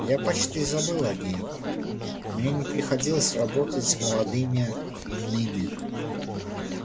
я почти забыл о ней мне не приходилось работать с молодыми иными